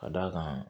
Ka d'a kan